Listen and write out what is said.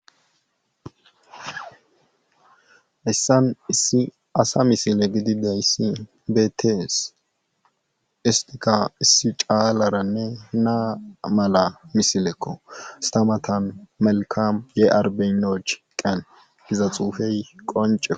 Haysan issi asa misile gididays betes, istika issi calara na mala misileko, ista matan melkam ye arbeyinochi qeni gizays qoncekko.